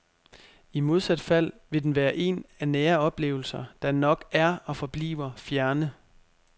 I modsat fald vil den være en af nære oplevelser, der nok er og forbliver fjerne.